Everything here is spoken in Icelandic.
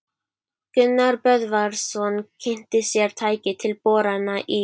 Gunnar Böðvarsson kynnti sér tæki til borana í